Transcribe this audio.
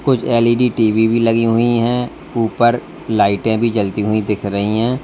कुछ LED TV भी लगी हुई है ऊपर लाइटें भी जलती हुई दिख रही हैं।